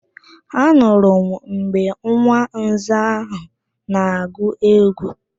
Anụrụ m mgbe nwa nza ahụ na-agụ egwu